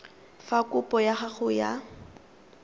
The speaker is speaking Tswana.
fa kopo ya gago ya